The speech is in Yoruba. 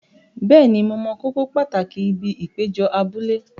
Bẹ́ẹ̀ni, mo mọ kókó pàtàkì ibi ìpéjọ abúlé.